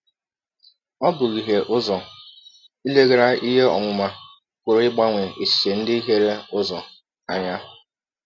Ọ bụ ihie ụzọ, ileghara ihe ọmụma pụrụ ịgbanwe echiche ndị hiere ụzọ, anya.